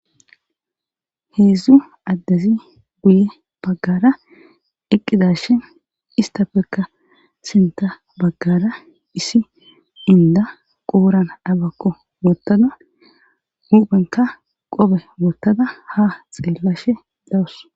heedzdzu addezi guye baggara eqqidashin istafekka sinta baggara isi inda qooran abakko woottada guphenka qope wottada ha xeellashe dawus